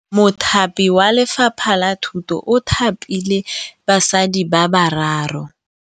Mothapi wa Lefapha la Thutô o thapile basadi ba ba raro.